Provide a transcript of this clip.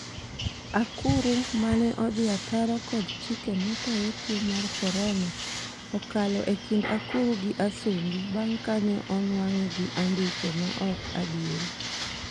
Akuru ' mane odhi ataro kod chike matayo tuo mar Korona okalo e kind akuru gi Asumbi bang' kane onwang'e gi andike ma ok adieri